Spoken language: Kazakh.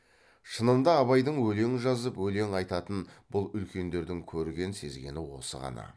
шынында абайдың өлең жазып өлең айтатынын бұл үлкендердің көрген сезгені осы ғана